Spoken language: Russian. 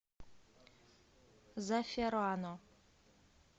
заферано